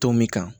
Tɔn min kan